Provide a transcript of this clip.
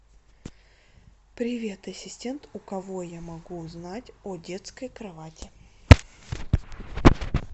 привет ассистент у кого я могу узнать о детской кровати